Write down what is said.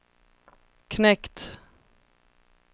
knekt